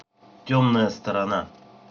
темная сторона